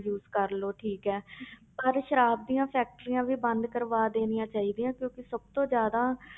Use ਕਰ ਲਓ ਠੀਕ ਹੈ ਪਰ ਸਰਾਬ ਦੀਆਂ factories ਵੀ ਬੰਦ ਕਰਵਾ ਦੇਣੀਆਂ ਚਾਹੀਦੀਆਂ ਕਿਉਂਕਿ ਸਭ ਤੋਂ ਜ਼ਿਆਦਾ